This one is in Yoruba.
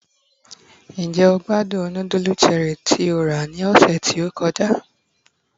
njé o gbádùn nudulu Cherie tí o ra ni ọsẹ ti o kọjá